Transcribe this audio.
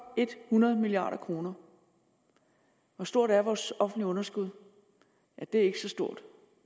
hundrede milliard kroner hvor stort er vores offentlige underskud ja det er ikke så stort